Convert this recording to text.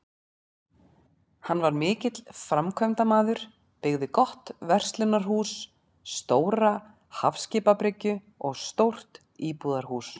Hann var mikill framkvæmdamaður, byggði gott verslunarhús, stóra hafskipabryggju og stórt íbúðarhús.